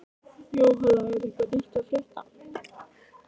Jóhann, er eitthvað nýtt að frétta?